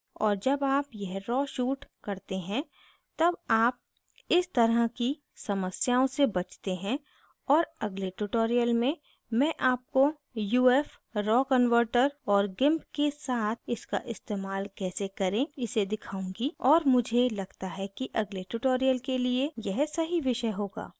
और जब आप यह raw raw shoot करते हैं तब आप इस तरह की समस्याओं से बचते हैं और अगले tutorial में मैं आपको uf raw converter raw converter और gimp के साथ इसका इस्तेमाल कैसे करे इसे दिखाऊँगी और मुझे लगता है कि अगले tutorial के लिए यह सही विषय होगा